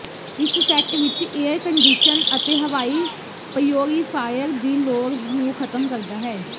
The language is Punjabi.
ਇਸ ਸੈੱਟ ਵਿਚ ਏਅਰ ਕੰਡਿਸ਼ਨ ਅਤੇ ਹਵਾਈ ਪਯੋਰਿਫਾਇਰ ਦੀ ਲੋੜ ਨੂੰ ਖਤਮ ਕਰਦਾ ਹੈ